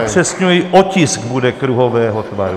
Upřesňuji, otisk bude kruhového tvaru.